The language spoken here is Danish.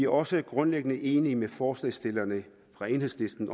også grundlæggende enige med forslagsstillerne fra enhedslisten